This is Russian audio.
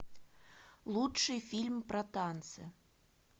лучший фильм про танцы